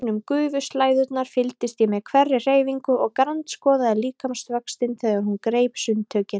Gegnum gufuslæðurnar fylgdist ég með hverri hreyfingu og grandskoðaði líkamsvöxtinn þegar hún greip sundtökin.